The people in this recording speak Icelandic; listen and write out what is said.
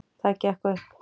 Það gekk upp.